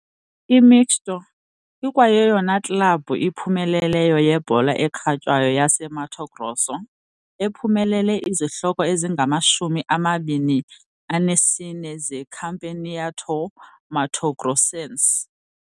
IMixto ikwayeyona klabhu iphumeleleyo yebhola ekhatywayo yaseMato Grosso, ephumelele izihloko ezingamashumi amabini anesine zeCampeonato Matogrossense.